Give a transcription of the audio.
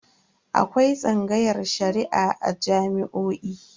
Akwai tsangayar Shari'a a jami'o'i.